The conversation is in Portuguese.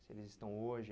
Se eles estão hoje...